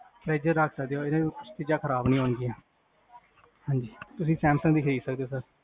fridge ਚ ਰਖ ਸਕਦੇ ਹੋ ਤੁਸੀਂ, ਚੀਜਾਂ ਖਰਾਬ ਨੀ ਹੁੰਦੀਆਂ ਹਾਂਜੀ, ਤੁਸੀਂ ਸੈਮਸੰਗ ਦੀ ਖਰੀਦ ਸਕਦੇ ਹੋ